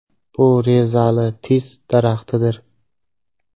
Bu rezali tis daraxtidir.